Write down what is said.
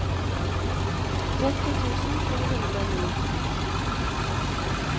tretti tusen to hundre og ni